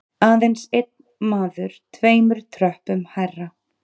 Aðeins einn maður tveimur tröppum hærra.